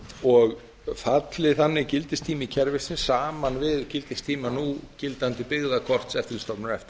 og falli þannig gildistími kerfisins saman við gildistíma núgildandi byggðakort eftirlitsstofnunar efta